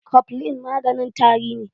Koflin maganin tari ne